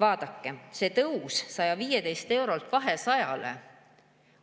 Vaadake, see tõus 115 eurolt 200 eurole